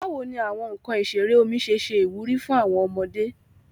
Bawo ni awọn nkan isere omi ṣe ṣe iwuri fun awọn ọmọde?